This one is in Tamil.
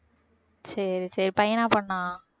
சரி சரி பையனா பொண்ணா